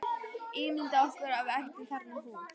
Ímyndað okkur að við ættum þarna hús.